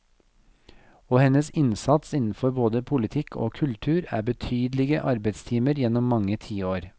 Og hennes innsats innenfor både politikk og kultur er betydelige arbeidstimer gjennom mange tiår.